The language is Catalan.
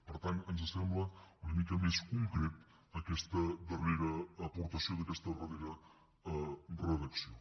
per tant ens sembla una mica més concreta aquesta darrera aportació d’aquesta darrera redacció